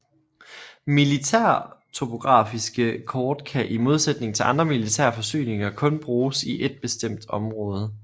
Militærtopografiske kort kan i modsætning til andre militære forsyninger kun bruges i et bestemt område